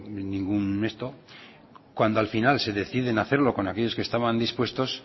ningún cuando al final se deciden a hacerlo con aquellos que estaban dispuestos